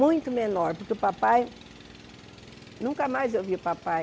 Muito menor, porque o papai... Nunca mais eu vi o papai.